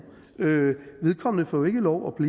vedkommende får ikke lov